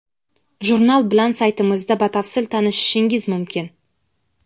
Jurnal bilan saytimizda batafsil tanishishingiz mumkin.